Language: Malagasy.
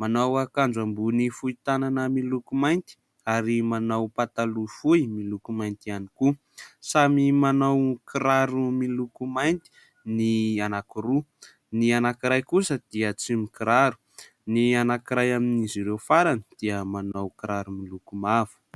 Manao akanjo ambony fohy tanana miloko mainty ary manao pataloha fohy miloko mainty ihany koa ; samy manao kiraro miloko mainty ny anankiroa, ny anankiray kosa dia tsy mikiraro, ny anankiray amin'izy ireo farany dia manao kiraro miloko mavo.